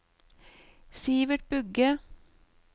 Sivert Bugge